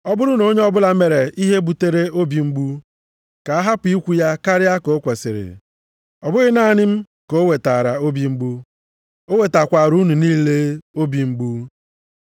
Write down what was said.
Ọ bụrụ na onye ọbụla mere ihe butere obi mgbu, ka a hapụ ikwu ya karịa ka o kwesiri, ọ bụghị naanị m ka o wetaara obi mgbu, o wetakwaara unu niile obi mgbu.